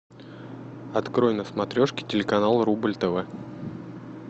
открой на смотрешке телеканал рубль тв